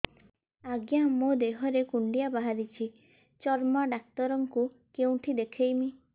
ଆଜ୍ଞା ମୋ ଦେହ ରେ କୁଣ୍ଡିଆ ବାହାରିଛି ଚର୍ମ ଡାକ୍ତର ଙ୍କୁ କେଉଁଠି ଦେଖେଇମି